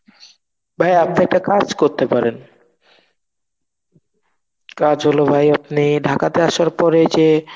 ভাই আপনি একটা কাজ করতে পারেন. কাজ হলো ভাই আপনি ঢাকাতে আসার পরে যে